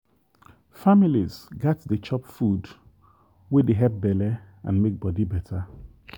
families gats dey chop food wey dey help belle and make body better.